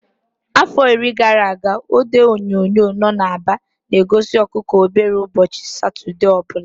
Afọ iri gara aga, odo ihe onyonyo nno na Aba na-egosi ọkụkọ obere ụbọchị Satọde ọ bụla.